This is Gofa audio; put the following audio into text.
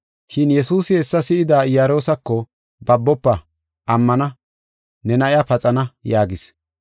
Shin Yesuusi hessa si7idi Iyaroosako, “Babofa! Ammana, ne na7iya paxana” yaagis.